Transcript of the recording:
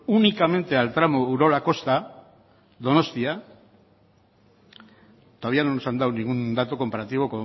únicamente al tramo urola kosta donostia todavía no nos han dado ningún dato comparativo